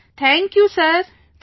Vijayashanti ji Thank you sir